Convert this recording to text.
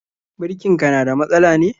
Birkin ka na da matsala ne?